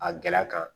A gɛlɛ kan